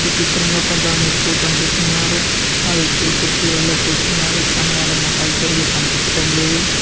ఈ చిత్రంలో కొంతమంది వ్యక్తులు కనిపిస్తున్నారు ఆ వ్యక్తులు కుర్చీలలో కూర్చున్నారు కానీ వాళ్ళ మొఖాలు సరిగా కనిపిచటం లేదు.